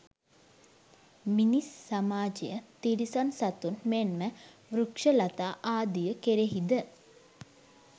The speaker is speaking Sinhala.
මිනිස් සමාජය, තිරිසන් සතුන් මෙන්ම වෘක්‍ෂලතා ආදිය කෙරෙහිද